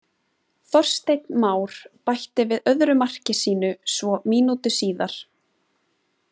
Þorsteinn Már bætti við öðru marki sínu svo mínútu síðar.